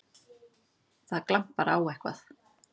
Það glampar á eitthvað!